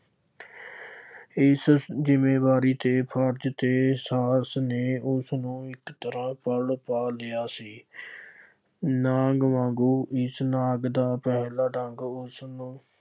ਇਸ ਜ਼ਿੰਮੇਵਾਰੀ ਚ ਫਰਜ਼ ਦੇ ਸਾਹਸ ਨੇ ਉਸਨੂੰ ਇੱਕ ਤਰ੍ਹਾ ਦਾ ਗੱਲ ਪਾ ਲਿਆ ਸੀ। ਨਾਗ ਵਾਂਗੂੰ ਇਸ ਨਾਗ ਦਾ ਪਹਿਲਾਂ ਡੰਗ ਉਸਨੂੰ